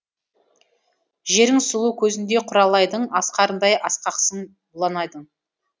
жерің сұлу көзіндей құралайдың асқарындай асқақсың бұланайдың